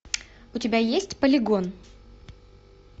у тебя есть полигон